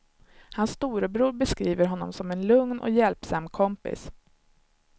Hans storebror beskriver honom som en lugn och hjälpsam kompis.